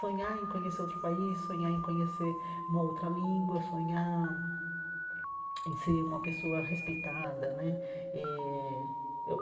Sonhar em conhecer outro país, sonhar em conhecer uma outra língua, sonhar em ser uma pessoa respeitada né eh.